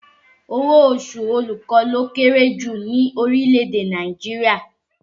Owó oṣù olùkọ́ ló kéré jù lọ ní orílẹ̀ èdè Nàìjíríà